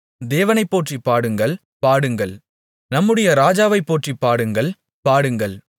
தேவனைப் போற்றிப் பாடுங்கள் பாடுங்கள் நம்முடைய ராஜாவைப் போற்றிப் பாடுங்கள் பாடுங்கள்